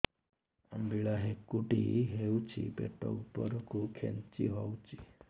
ଅମ୍ବିଳା ହେକୁଟୀ ହେଉଛି ପେଟ ଉପରକୁ ଖେଞ୍ଚି ହଉଚି